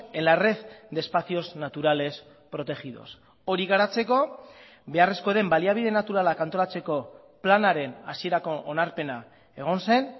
en la red de espacios naturales protegidos hori garatzeko beharrezkoa den baliabide naturalak antolatzeko planaren hasierako onarpena egon zen